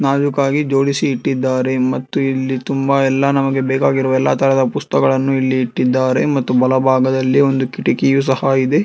ಕಾಲುಕಾಗಿ ಜೋಡಿಸಿ ಇಟ್ಟಿದ್ದಾರೆ ಮತ್ತು ಇಲ್ಲಿ ತುಂಬಾ ಎಲ್ಲಾ ನಮಗೆ ಬೇಕಾಗಿರುವ ಎಲ್ಲಾ ತರದ ಪುಸ್ತಗಳನ್ನು ಇಲ್ಲಿ ಇಟ್ಟಿದ್ದಾರೆ ಮತ್ತು ಬಲ ಭಾಗದಲ್ಲಿ ಒಂದು ಕಿಟಕಿ ಸಹ ಇದೆ.